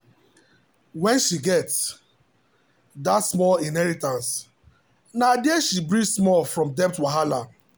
when she get that small inheritance na there she breathe small from debt wahala.